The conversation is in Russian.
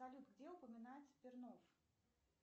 салют где упоминается пернов